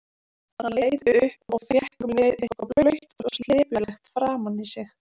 Hann leit upp og fékk um leið eitthvað blautt og slepjulegt framan í sig.